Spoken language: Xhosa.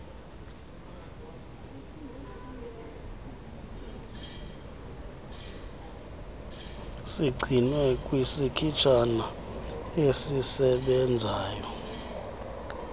sigcinwe kwisikhitshana esisebenzayo